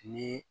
Ni